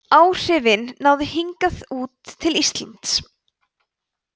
áhrifin náðu hingað út til íslands